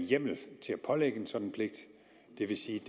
en hjemmel til at pålægge en sådan pligt det vil sige